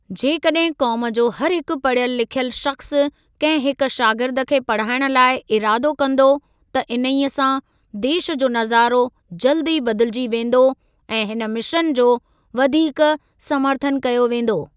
जेकॾहिं क़ौम जो हर हिकु पढ़ियलु लिखियलु शख़्सु कंहिं हिक शागिर्द खे पढ़ाइण लाइ इरादो कंदो त इन्हीअ सां देश जो नज़ारो जल्दु ई बदिलिजी वेंदो ऐं हिन मिशन जो वधीक समर्थनु कयो वेंदो।